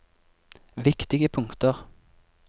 viktige punkter